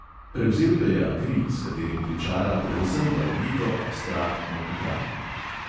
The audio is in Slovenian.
Prevzel jo je akril, s katerim pričara predvsem barvito abstraktno pokrajino.